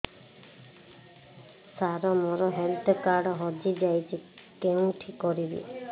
ସାର ମୋର health card ହଜି ଯାଇଛି କେଉଁଠି କରିବି